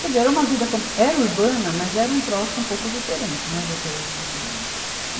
Quer dizer, era uma vida com, era urbana, mas era um troço um pouco diferente, né do que é hoje em dia. e